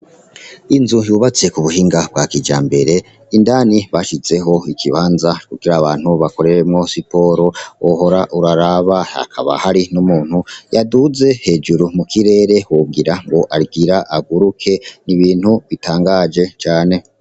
Inzu yubatse k'ubuhinga bwa kijambere, indani bashizeho ikibanza kugira abantu bakoreremwo siporo wohora uraraba, hakaba hari n'umuntu yaduze hejuru mu kirere wogira ngo agira aguruke n'ibintu bitangaje cane.